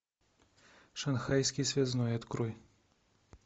шанхайский связной открой